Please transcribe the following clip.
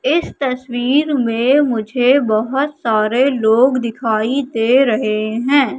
इस तस्वीर में मुझे बहोत सारे लोग दिखाई दे रहे हैं।